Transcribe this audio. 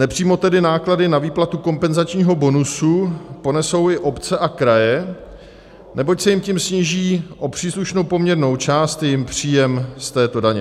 Nepřímo tedy náklady na výplatu kompenzačního bonusu ponesou i obce a kraje, neboť se jim tím sníží o příslušnou poměrnou část jejich příjem z této daně.